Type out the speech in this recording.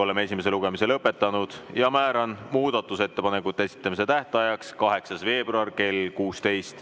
Oleme esimese lugemise lõpetanud ja määran muudatusettepanekute esitamise tähtajaks 8. veebruari kell 16.